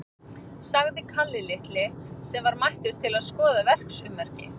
sagði Kalli litli, sem var mættur til þess að skoða verksummerki.